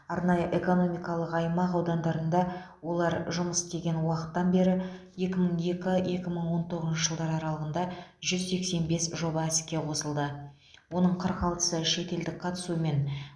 арнайы экономикалық аймақ аудандарында олар жұмыс істеген уақыттан бері екі мың екі екі мың он тоғызыншы жылдар аралығында жүз сексен бес жоба іске қосылды оның қырық алтысы шетелдік қатысумен